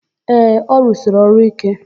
Ee, ọ rụsiri ọrụ íké.